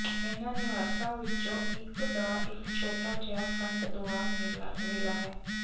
ਇਹਨਾਂ ਨਿਵਾਸਾਂ ਵਿੱਚੋਂ ਇਕ ਦਾ ਇਕ ਛੋਟਾ ਜਿਹਾ ਫਰੰਟ ਦੁਆਰ ਵੇਲਾ ਹੈ